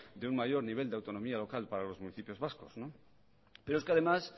de un mayor nivel de autonomía local para los municipios vascos pero es que además